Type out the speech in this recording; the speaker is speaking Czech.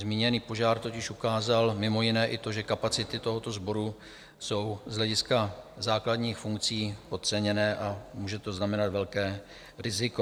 Zmíněný požár totiž ukázal mimo jiné i to, že kapacity tohoto sboru jsou z hlediska základních funkcí podceněné a může to znamenat velké riziko.